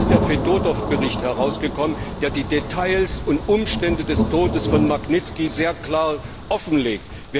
Heute ist der Fedotow Bericht herausgekommen, der die Details und Umstände des Todes von Magnitzki sehr klar offenlegt.